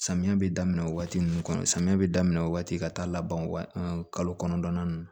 Samiya bɛ daminɛ waati min kɔnɔ samiya bɛ daminɛ o waati ka taa laban waa kɔnɔntɔnnan ninnu